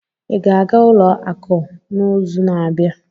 ị ga-aga ụlọ akụ n'izu na-abịa?